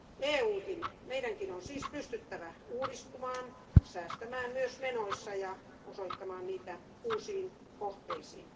EUnkin eli meidän on siis pystyttävä uudistumaan, säästämään myös menoissa ja osoittamaan niitä uusiin kohteisiin.